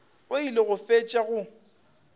o ile go fetša go